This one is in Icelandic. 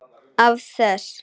Af þess